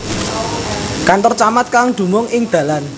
Kantor Camat kang dumung ing Dalan